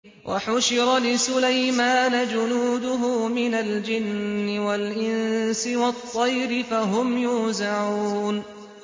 وَحُشِرَ لِسُلَيْمَانَ جُنُودُهُ مِنَ الْجِنِّ وَالْإِنسِ وَالطَّيْرِ فَهُمْ يُوزَعُونَ